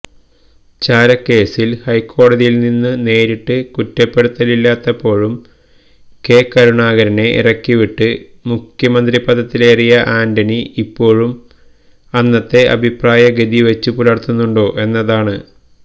ചാരക്കേസില് ഹൈക്കോടതിയില്നിന്ന് നേരിട്ടു കുറ്റപ്പെടുത്തലില്ലാഞ്ഞപ്പോഴും കെ കരുണാകരനെ ഇറക്കിവിട്ട് മുഖ്യമന്ത്രിപദത്തിലേറിയ ആന്റണി ഇപ്പോഴും അന്നത്തെ അഭിപ്രായഗതി വച്ചുപുലര്ത്തുന്നുണ്ടോ എന്നതാണ്